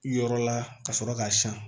Yɔrɔ la ka sɔrɔ k'a san